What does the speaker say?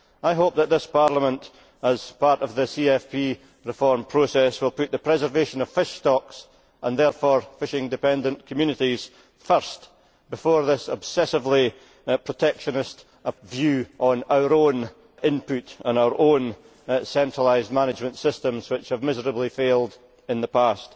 I hope that this Parliament, as part of the CFP reform process, will put the preservation of fish stocks, and therefore fishing dependent communities, first, before this obsessively protectionist view on our own input and our own centralised management systems which have miserably failed in the past.